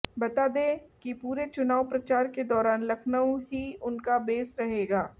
बता दें कि पूरे चुनाव प्रचार के दौरान लखनऊ ही उनका बेस रहेगा